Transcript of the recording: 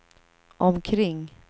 omkring